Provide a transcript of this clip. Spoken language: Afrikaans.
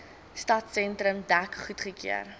stadsentrum dek goedgekeur